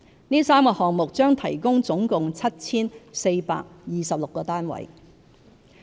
這3個項目將提供總共 7,426 個單位。